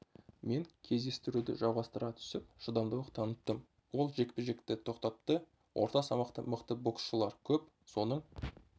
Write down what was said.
мен кездесуді жалғастыра түсіп шыдамдылық таныттым ол жекпе-жекті тоқтатты орта салмақта мықты боксшылар көп соның